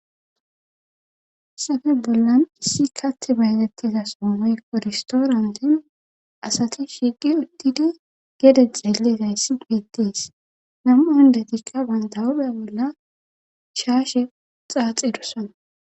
Safe bollan issi katt bayatettiza sommoy korstoorantin asati shigi uttidi gede xeelezayssi beettees nam'u handati qa bayntahube bolla shaashe xaaxidusana